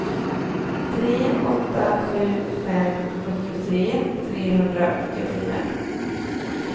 tre åtta sju fem sjuttiotre trehundraåttiofyra